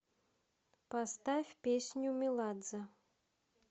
поставь песню меладзе